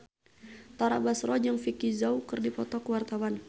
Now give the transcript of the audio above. Tara Basro jeung Vicki Zao keur dipoto ku wartawan